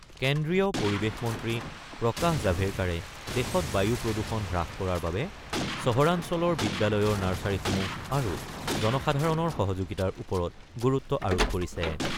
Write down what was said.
কেন্দ্ৰীয় পৰিৱেশ মন্ত্ৰী প্ৰকাশ জাভেৰকাড়ে দেশত বায়ু প্ৰদূষণ হ্ৰাস কৰাৰ বাবে চহৰাঞ্চলৰ বিদ্যালয়ৰ নাৰ্চাৰীসমূহ আৰু জনসাধাৰণৰ সহযোগিতাৰ ওপৰত গুৰুত্ব আৰোপ কৰিছে।